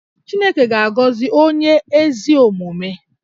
Chineke ga-agọzi onye ezi omume